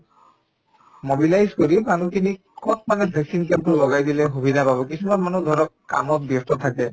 mobilize কৰি মানুহখিনিক কত মানে vaccine camp তো লগাই দিলে সুবিধা পাব কিছুমান মানুহ ধৰক কামত ব্যস্ত থাকে